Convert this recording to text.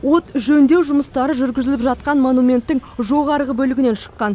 от жөндеу жұмыстары жүргізіліп жатқан монументтің жоғарғы бөлігінен шыққан